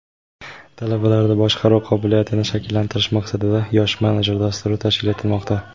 talabalarda boshqaruv qobiliyatlarini shakllantirish maqsadida "Yosh menejer" dasturi tashkil etilmoqda.